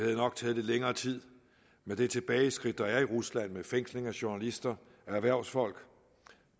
det nok taget lidt længere tid med det tilbageskridt der er i rusland med fængsling af journalister og erhvervsfolk